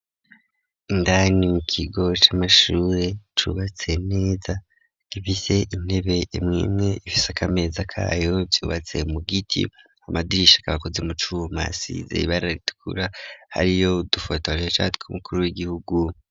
Indani mu kigo c'amashure cubatse neza gifise intebe imwimwe ifiseko akameza kayo vyubatse mu giti amadirisha akaba akozwe mu cuma asize ibara ritukura hariyo udufotoresha tw'umukuru w'igihugu.